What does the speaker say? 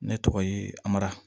Ne tɔgɔ ye amara